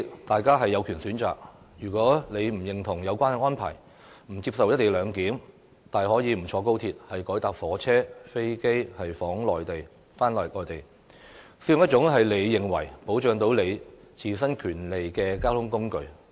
大家有權選擇搭不搭高鐵，如果不認同有關安排，不接受"一地兩檢"，大可不坐高鐵，改乘其他火車或飛機往內地，又或使用自己認為可保障自身權利的交通工具。